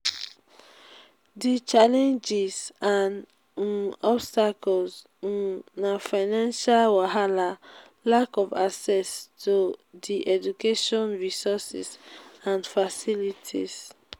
di challenges and um obstacles um na financial wahala lack of access to di education resources and facilities.